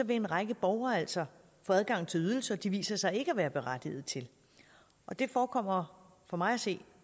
en række borgere altså få adgang til ydelser de viser sig ikke at være berettiget til og det forekommer for mig at se